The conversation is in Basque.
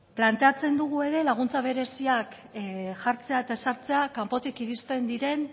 planteatzen dugu ere laguntza bereziak jartzea eta ezartzea kanpotik iristen diren